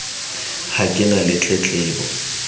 ha ke na le tletlebo